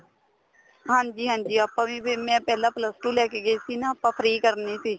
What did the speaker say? ਹਾਂਜੀ ਹਾਂਜੀ ਆਪਾਂ ਵੀ ਫੇਰ ਮੈਂ ਪਹਿਲਾਂ plus two ਲੈਕੇ ਗਈ ਸੀ ਨਾ ਆਪਾਂ free ਕਰਨੀ ਸੀ